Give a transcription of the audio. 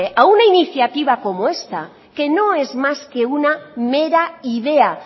a una iniciativa como esta que no es más que una mera idea